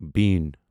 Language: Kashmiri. بیٖن